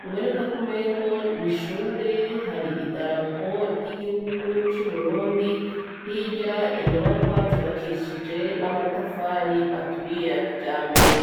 bibonekak'umengo n'ishure, har'idarapo ry'igihugu c'Uburundi, hirya inyubakwa zubakishije namatafari aturiye ya kijambere.